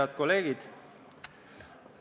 Head kolleegid!